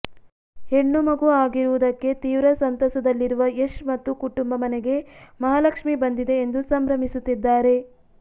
ಹೆಣ್ಣು ಮಗು ಆಗಿರುವುದಕ್ಕೆ ತೀವ್ರ ಸಂತಸದಲ್ಲಿರುವ ಯಶ್ ಮತ್ತು ಕುಟುಂಬ ಮನೆಗೆ ಮಹಾಲಕ್ಷ್ಮಿ ಬಂದಿದೆ ಎಂದು ಸಂಭ್ರಮಿಸುತ್ತಿದ್ದಾರೆ